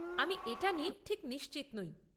আমি এটা নিয়ে ঠিক নিশ্চিত নই।